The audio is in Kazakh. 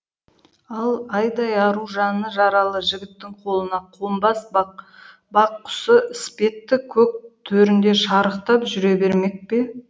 ал айдай ару жаны жаралы жігіттің қолына қонбас бақ құсы іспетті көк төрінде шарықтап жүре бермек пе